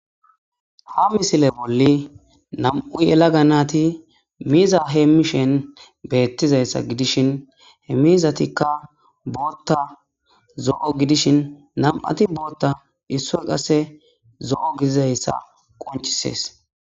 Ha misile bolli nam'u yela ga naati miiza hee mishen beettizayssa gidishin he miizatikka bootta zo'o gidishin nam'ati bootta isso qasse zo'o gidizayssa qonchisees.